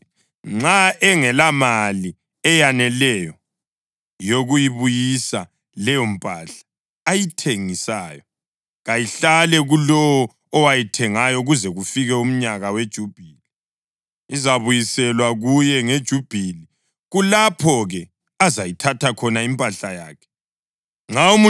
Kodwa-ke nxa engelamali eyaneleyo yokuyibuyisa leyompahla ayithengisayo, kayihlale kulowo owayithengayo kuze kufike umnyaka weJubhili. Izabuyiselwa kuye ngeJubhili, kulapho-ke azayithatha khona impahla yakhe.